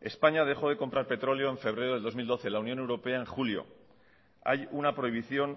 españa dejó de comprar petróleo en febrero de dos mil doce la unión europea en julio hay una prohibición